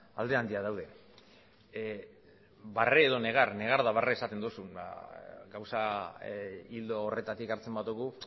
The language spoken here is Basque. alde handiak daude barre edo negar negar edo barre esaten dozu gauza ildo horretatik hartzen badugu